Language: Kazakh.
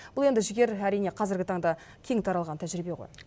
бұл енді жігер әрине қазіргі таңда кең таралған тәжірибе ғой